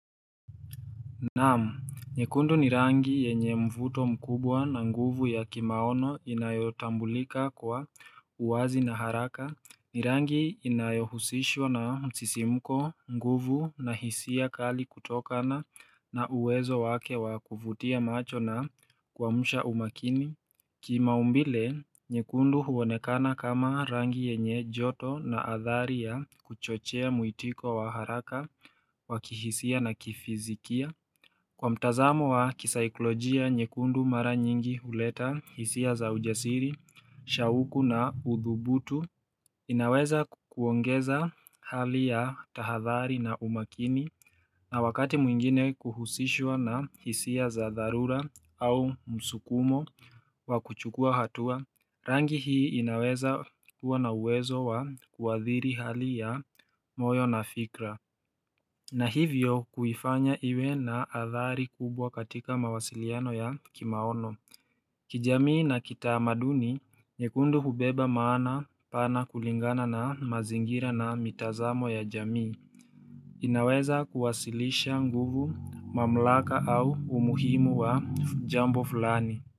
Naam, nyekundu ni rangi yenye mvuto mkubwa na nguvu ya kimaono inayotambulika kwa uwazi na haraka ni rangi inayohusishwa na msisimko nguvu na hisia kali kutokana na uwezo wake wa kuvutia macho na kuamsha umakini Kimaumbile, nyekundu huonekana kama rangi yenye joto na athari ya kuchochea muitiko wa haraka wa kihisia na kifizikia Kwa mtazamo wa kisaiklojia, nyekundu mara nyingi huleta hisia za ujasiri, shauku na uthubutu inaweza kuongeza hali ya tahadhari na umakini na wakati mwingine kuhusishwa na hisia za dharura au msukumo wa kuchukua hatua Rangi hii inaweza kuwa na uwezo wa kuadhiri hali ya moyo na fikra na hivyo kuifanya iwe na adhari kubwa katika mawasiliano ya kimaono kijamii na kitamaduni, nyekundu hubeba maana pana kulingana na mazingira na mitazamo ya jamii inaweza kuwasilisha nguvu mamlaka au umuhimu wa jambo fulani.